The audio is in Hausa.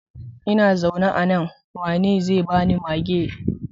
Ina zaune a nan, waye zai bani mage?